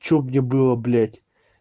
что где было блять